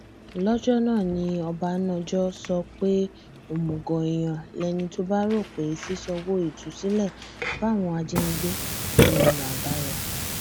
lọjọ náà ni ọbánájọ sọ pé òmùgọ èèyàn lẹni tó bá rò pé ṣíṣàǹwò ìtúsílẹ fáwọn ajínigbé ní ọnà àbáyọ